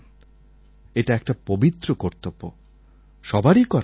এটা একটা পবিত্র কর্তব্য সবারই করা উচিৎ